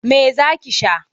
Me za ki sha?